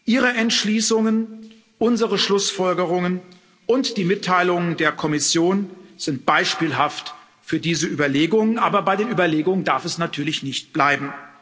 Ihre Entschließungen, unsere Schlussfolgerungen und die Mitteilungen der Kommission sind beispielhaft für diese Überlegungen, aber bei den Überlegungen darf es natürlich nicht bleiben.